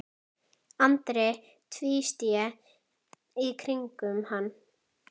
Andri tvísté í kringum hann.